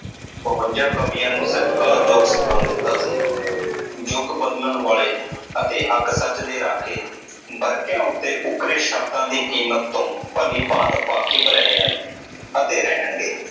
ਬਵੰਜਾ ਕਵੀਆਂ ਨੂੰ ਸਤਿਕਾਰ ਯੋਗ ਸਥਾਨ ਦਿੱਤਾ ਸੀ। ਜੁਗ ਬਦਲਣ ਵਾਲੇ ਅਤੇ ਹੱਕ ਸੱਚ ਦੇ ਰਾਖੇ ਵਰਕਿਆਂ ਉੱਤੇ ਉਕਰੇ ਸ਼ਬਦਾਂ ਦੀ ਕੀਮਤ ਤੋਂ ਭਲੀ ਭਾਂਤ ਵਾਕਿਫ਼ ਰਹੇ ਹਨ ਅਤੇ ਰਹਿਣਗੇ